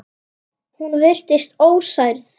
Hún virtist ósærð.